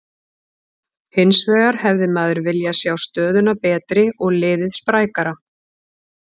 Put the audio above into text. Hinsvegar hefði maður viljað sjá stöðuna betri og liðið sprækara.